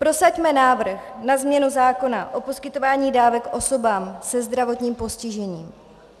Prosaďme návrh na změnu zákona o poskytování dávek osobám se zdravotním postižením.